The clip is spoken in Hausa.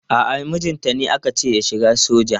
A'a mijinta ne aka ce ya shiga soja.